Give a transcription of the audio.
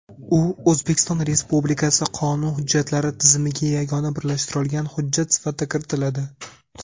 u O‘zbekiston Respublikasi qonun hujjatlari tizimiga yagona birlashtirilgan hujjat sifatida kiritiladi.